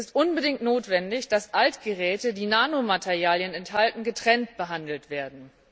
Es ist unbedingt notwendig, dass Altgeräte, die Nanomaterialien enthalten, getrennt behandelt werden.